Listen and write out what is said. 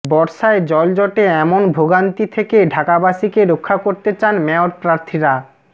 বর্ষায় জলযটে এমন ভোগান্তি থেকে ঢাকাবাসীকে রক্ষা করতে চান মেয়রপ্রার্থীরা